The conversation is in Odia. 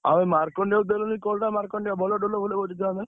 ଆଉ ମାର୍କଣ୍ଡେୟକୁ ଦେଲନି call ଟା, ମାର୍କଣ୍ଡେୟ ଭଲ ଢୋଲ ଫୋଲ ବଜେଇଥାନ୍ତା।